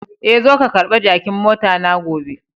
Eh,,zo ka karba jakin mota na gobe.